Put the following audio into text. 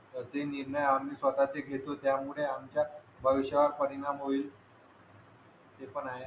जसे निर्णय आम्ही स्वतःचे घेत होतो त्यामुळे आमच्या भविष्यावर परिणाम होईल ते पण आहे